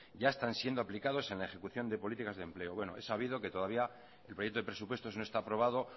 ya están siendo aplicados en la ejecución de políticas de empleo he sabido que todavía el proyecto de presupuestos no está aprobado